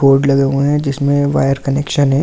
board लगे हुए हैं जिसमे वायर कनेक्शन हैं और--